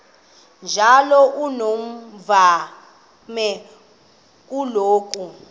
njalo unomvume kuloko